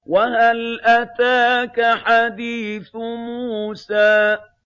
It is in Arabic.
وَهَلْ أَتَاكَ حَدِيثُ مُوسَىٰ